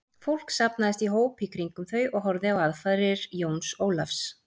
Fólk safnaðist í hóp í kringum þau og horfði á aðfarir Jóns Ólafs.